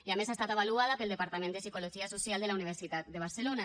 i a més ha estat avaluada pel departament de psicologia social de la universitat de barcelona